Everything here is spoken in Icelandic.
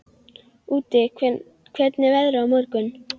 Úddi, hvernig er veðrið á morgun?